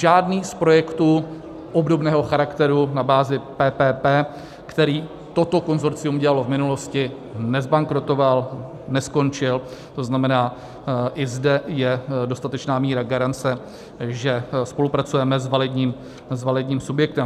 Žádný z projektů obdobného charakteru na bázi PPP, který toto konsorcium dělalo v minulosti, nezbankrotoval, neskončil, to znamená i zde je dostatečná míra garance, že spolupracujeme s validním subjektem.